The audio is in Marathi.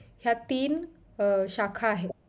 या तीन अं शाखा आहेत